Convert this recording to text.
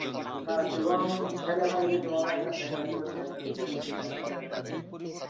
না, শুভম খেলেনা Hindi শুভমের একটা friend আছে ও চ্যাস~ অ্যাঁ উম national level Hindi খেলছে.